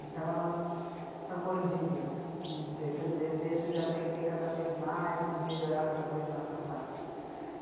Então elas são mordidas, vamos dizer, pelo desejo de aprender cada vez mais e de melhorar cada vez mais a prática.